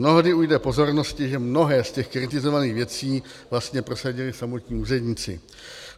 Mnohdy ujde pozornosti, že mnohé z těch kritizovaných věcí vlastně prosadili samotní úředníci.